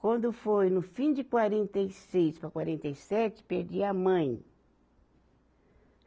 Quando foi no fim de quarenta e seis para quarenta e sete, perdi a mãe.